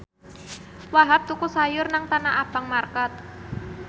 Wahhab tuku sayur nang Tanah Abang market